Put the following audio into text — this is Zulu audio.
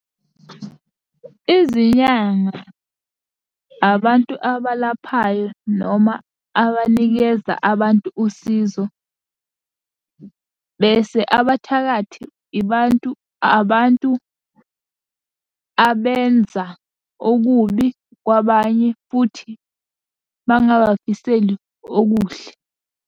Izinyanga abantu abalaphayo noma abanikeza abantu usizo, bese abathakathi ibantu abantu abenza okubi kwabanye futhi bangabafiseli okuhle.